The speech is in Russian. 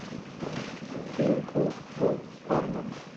фильм кунг фу панда